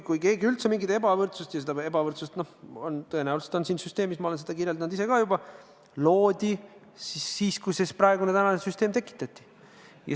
Kui siin üldse on mingit ebavõrdsust, siis see ebavõrdsus loodi tõenäoliselt siis – ma olen seda juba kirjeldanud –, kui praegune süsteem tekitati.